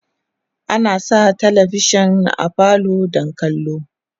ana Sa talavishan a falo don kallo